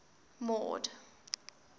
mord